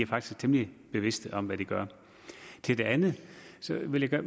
faktisk temmelig bevidste om hvad de gør til det andet vil jeg